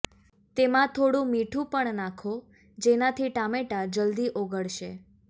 તેમાં થોડું મીઠું પણ નાંખો જેનાથી ટામેટાં જલ્દી ઓગળશે